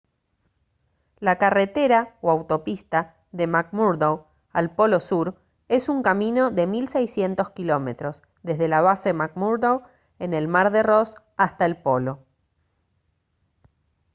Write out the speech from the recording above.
la carretera o autopista de mcmurdo al polo sur es un camino de 1600 km desde la base mcmurdo en el mar de ross hasta el polo